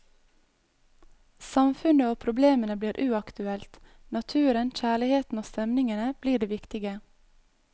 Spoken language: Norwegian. Samfunnet og problemene blir uaktuelt, naturen, kjærligheten og stemningene blir det viktige.